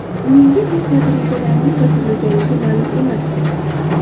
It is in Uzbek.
Menga bu kabi rejalarning bildirilganligi ma’lum emas.